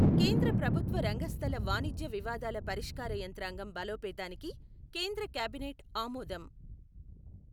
కేంద్ర ప్రభుత్వ రంగ సంస్థల వాణిజ్య వివాదాల పరిష్కార యంత్రాంగం బలోపేతానికి కేంద్ర కేబినెట్ ఆమోదం